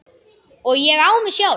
Og ég á mig sjálf!